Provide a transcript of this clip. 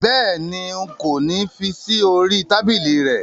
Béèni, n̄ kò ní fí sí orí i tábìlì rẹ